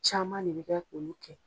Caman le bɛ kɛ k'olu kɛ.